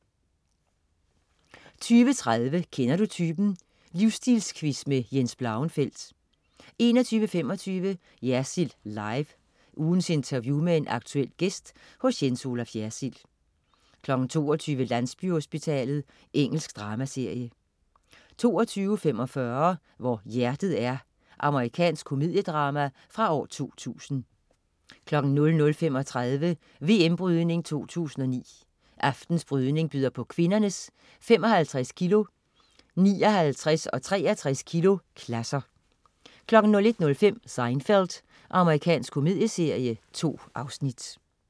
20.30 Kender du typen? Livsstilquiz med Jens Blauenfeldt 21.25 Jersild Live. Ugens interview med en aktuel gæst hos Jens Olaf Jersild 22.00 Landsbyhospitalet. Engelsk dramaserie 22.45 Hvor hjertet er. Amerikansk komediedrama fra 2000 00.35 VM Brydning 2009. Aftenens brydning byder på kvindernes 55 kg-, 59 og 63 kg-klasser 01.05 Seinfeld. Amerikansk komedieserie. 2 afsnit